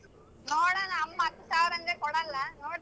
ನೋಡಣ ಅಮ್ಮ ಹತ್ ಸಾವ್ರ್ ಅಂದ್ರೆ ಕೊಡಲ್ಲ ನೋಡ್ತೀನಿ.